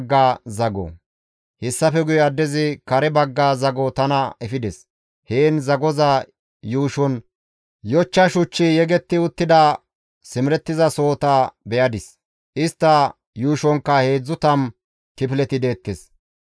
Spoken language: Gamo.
Hessafe guye addezi kare bagga zago tana efides; heen zagoza yuushon yochcha shuchchi yegetti uttida simerettizasohota be7adis; istta yuushonkka 30 kifileti deettes.